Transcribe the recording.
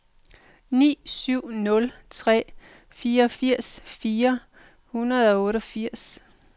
ni syv nul tre fireogfirs fire hundrede og otteogfirs